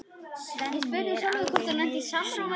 Svenni er alveg miður sín.